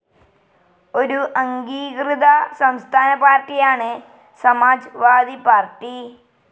ഒരു അംഗീകൃത സംസ്ഥാന പാർട്ടിയാണ് സമാജ്‌വാദി പാർട്ടി.